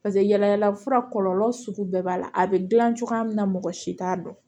paseke yaala yaala fura kɔlɔlɔ sugu bɛɛ b'a la a be gilan cogoya min na mɔgɔ si t'a dɔn